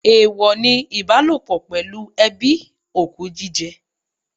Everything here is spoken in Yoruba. Èèwọ ni ìbálòpọ̀ pẹ̀lú ẹbí, òkú jíjẹ.